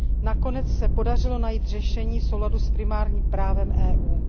Nakonec se podařilo najít řešení v souladu s primárním právem EU.